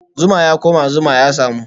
Zuma ya koma, zuma ya samu